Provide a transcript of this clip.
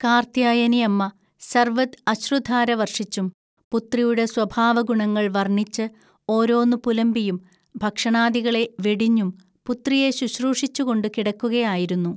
കാർത്യായനിഅമ്മ സർവ്വദ് അശ്രുധാര വർഷിച്ചും പുത്രിയുടെ സ്വഭാവഗുണങ്ങൾ വർണ്ണിച്ച് ഓരോന്നു പുലമ്പിയും, ഭക്ഷണാദികള വെടിഞ്ഞും, പുത്രിയെ ശുശ്രൂഷിച്ചുകൊണ്ടു കിടക്കുക ആയിരുന്നു